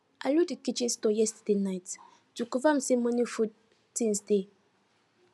i look the kitchen store yesterday night to confirm say morning food things dey